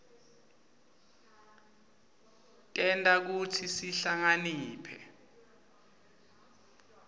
tenta kutsi sihlakaniphe